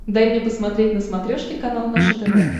дай мне посмотреть на смотрешке канал наше тв